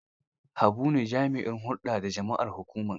Habu ne jami'in hulɗa da jama'ar hukumar.